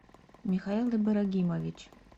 михаил ибрагимович